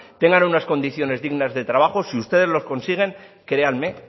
tengan unas condiciones dignas de trabajo si ustedes lo consiguen créanme